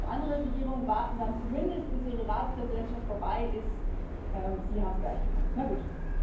Andere Regierungen warten damit zumindest, bis ihre Ratspräsidentschaft vorbei ist, Sie haben es gleich gemacht na gut.